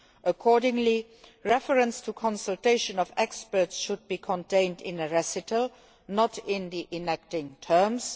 Accordingly, reference to consultation of experts should be contained in a recital, not in the enacting terms.